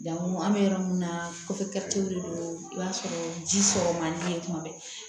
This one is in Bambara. Jango an bɛ yɔrɔ min na kɔfɛtenw de don i b'a sɔrɔ ji sɔrɔ man di tuma bɛɛ